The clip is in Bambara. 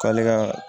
K'ale ka